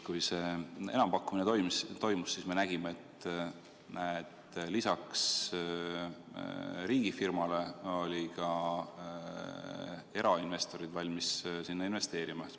Kui see enampakkumine toimus, siis me nägime, et lisaks riigifirmale olid ka erainvestorid valmis sinna investeerima.